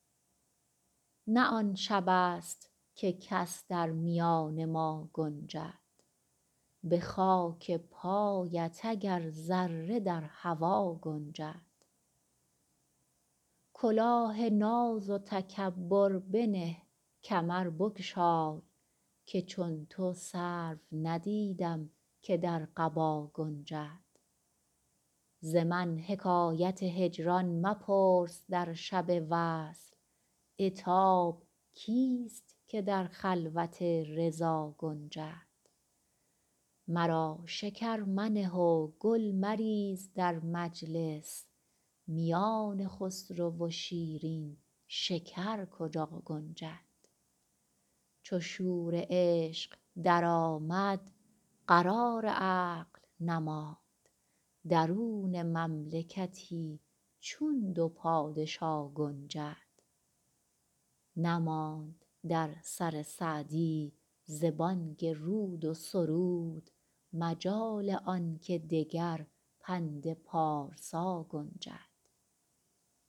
نه آن شبست که کس در میان ما گنجد به خاک پایت اگر ذره در هوا گنجد کلاه ناز و تکبر بنه کمر بگشای که چون تو سرو ندیدم که در قبا گنجد ز من حکایت هجران مپرس در شب وصل عتاب کیست که در خلوت رضا گنجد مرا شکر منه و گل مریز در مجلس میان خسرو و شیرین شکر کجا گنجد چو شور عشق درآمد قرار عقل نماند درون مملکتی چون دو پادشا گنجد نماند در سر سعدی ز بانگ رود و سرود مجال آن که دگر پند پارسا گنجد